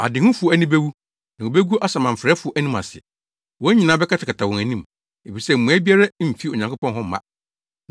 Adehufo ani bewu na wobegu asamanfrɛfo anim ase. Wɔn nyinaa bɛkatakata wɔn anim, efisɛ mmuae biara mfi Onyankopɔn hɔ mma.”